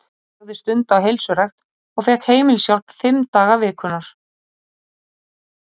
Hún lagði stund á heilsurækt og fékk heimilishjálp fimm daga vikunnar.